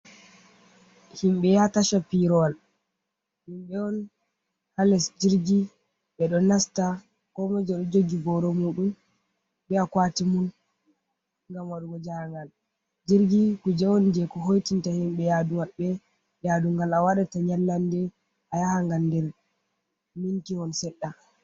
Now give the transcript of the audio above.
Himɓe yaha Tasha pirowal, himɓe on ha les jirgi ɓe ɗo nasta komoi jo ɗo jogi boro muɗum be a kwati mum, ngam waɗugo ja ha ngal jirgi kuje on je ko hoitinta himbe yadu yadu ngal a wadata nyallande a yaha ngal nder sminti hon seɗɗa.